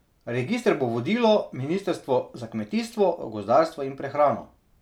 Register bo vodilo ministrstvo za kmetijstvo, gozdarstvo in prehrano.